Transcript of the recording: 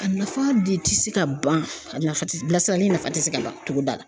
A nafa de ti se ka ban , a nafa ti, bila sirani in nafa tɛ se ka ban togoda la.